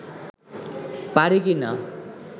পারি কি না